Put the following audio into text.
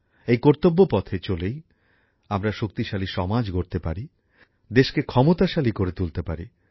এই কর্তব্যপথে চলেই আমরা শক্তিশালী সমাজ গড়তে পারি দেশকে ক্ষমতাশালী করে তুলতে পারি